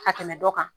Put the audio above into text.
Ka tɛmɛ dɔ kan